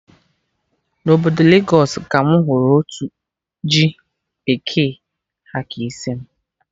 Na obodo Legos ka mụ hụrụ otu ji bekee ha ka isi mụ